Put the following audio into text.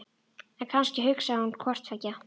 En kannski hugsaði hún hvort tveggja.